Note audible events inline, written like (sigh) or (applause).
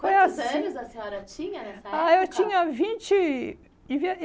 É assim... Quantos anos a senhora tinha nessa época? Ah, eu tinha vinte e (unintelligible)